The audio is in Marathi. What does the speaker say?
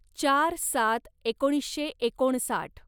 चार सात एकोणीसशे एकोणसाठ